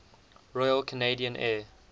royal canadian air